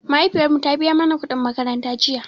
Mahaifiyar mu ta biya mana kuɗin makaranta jiya